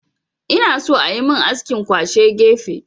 Ina so ayi min askin kwashe gefe